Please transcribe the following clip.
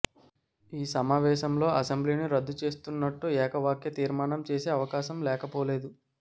ఈ సమావేశంలో అసెంబ్లీని రద్దు చేస్తున్నట్టు ఏక వాక్య తీర్మానం చేసే అవకాశం లేకపోలేదు